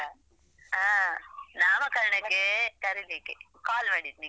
ಹಾ ನಾಮಕರಣಕ್ಕೆ ಕರೀಲಿಕ್ಕೆ call ಮಾಡಿದ್ದು ನಿಂಗೆ.